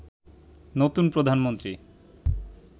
নতুন প্রধানমন্ত্রী